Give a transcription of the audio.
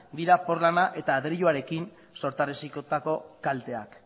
dira porlana eta adreiluarekin sortarazitako kalteak